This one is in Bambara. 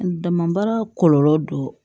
Dama baara kɔlɔlɔ dɔ